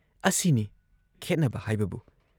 ꯑꯁꯤꯅꯤ ꯈꯦꯠꯅꯕ ꯍꯥꯏꯕꯕꯨ ꯫